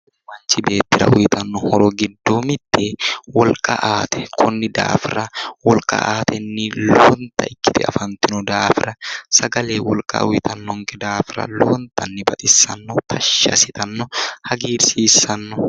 Sagale manchi beettira uyitanno horo giddo mitte wolqa aate konni daafira wolqa aatenni lowonta ikkite afantino daafira sagale wolqa uyitannonke daafira lowontanni baxissanno tashshi assitanno hagiirsiissanno